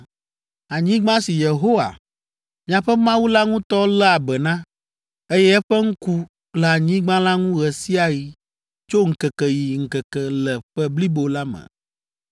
anyigba si Yehowa, miaƒe Mawu la ŋutɔ léa be na, eye eƒe ŋku le anyigba la ŋu ɣe sia ɣi tso ŋkeke yi ŋkeke le ƒe blibo la me!